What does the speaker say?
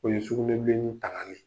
O ye sugunɛbilenni tangali